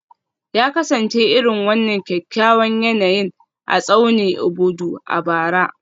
Ya kasance irin wannan kyakkyawan yanayin a tsaunin Obudu a bara